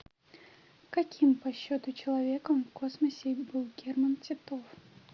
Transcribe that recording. каким по счету человеком в космосе был герман титов